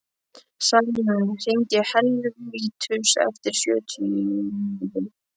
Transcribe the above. Salín, hringdu í Helvítus eftir sjötíu mínútur.